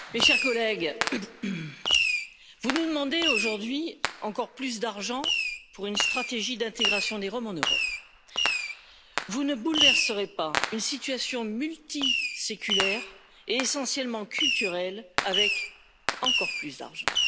Madame la Présidente, mes chers collègues, vous nous demandez aujourd'hui encore plus d'argent pour une stratégie d'intégration des Roms en Europe. Vous ne bouleverserez pas une situation multiséculaire et essentiellement culturelle avec encore plus d'argent.